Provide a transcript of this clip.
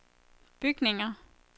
bygninger